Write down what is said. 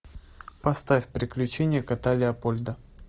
поставь приключения кота леопольда